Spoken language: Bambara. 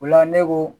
O la ne ko